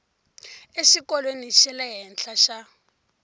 exikolweni xa le henhla xa